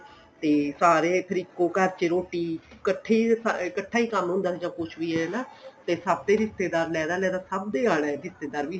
ਤੇ ਸਾਰੇ ਫ਼ਿਰ ਇੱਕ ਘਰ ਵਿੱਚ ਰੋਟੀ ਕੱਠੇ ਹੀ ਕੱਠਾ ਹੀ ਕੰਮ ਹੁੰਦਾ ਸੀ ਜਾਂ ਕੁੱਝ ਵੀ ਏ ਹਨਾ ਤੇ ਸਭ ਦੇ ਰਿਸ਼ਤੇਦਾਰ ਲੈਂਦਾ ਸਭ ਦੇ ਆਨਾ ਏ ਰਿਸ਼ਤੇਦਾਰ ਵੀ